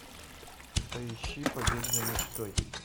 поищи побег за мечтой